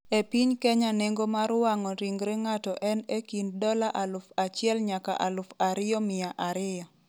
E piny Kenya nengo mar wang'o ringre ng'ato en e kind dola aluf achiel nyaka aluf ariyo miya ariyo.